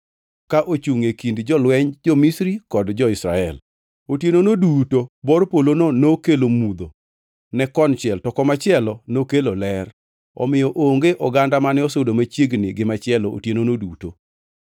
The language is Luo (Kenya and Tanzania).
ka ochungʼ e kind jolwenj jo-Misri kod jo-Israel. Otienono duto bor polono nokelo mudho ne konchiel to komachielo nokelo ler; omiyo onge oganda mane osudo machiegni gi machielo otienono duto.